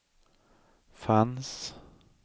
fanns